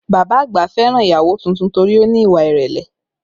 Bàbá àgbà fẹ́ràn ìyàwó tuntun torí ó ní ìwà ìrẹ̀lẹ̀